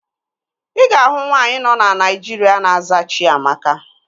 Ị ga-ahụ nwaanyị nọ na Naịjirịa na-aza Chiamaka